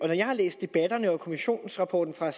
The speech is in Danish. jeg har læst debatterne og kommissionsrapporten fra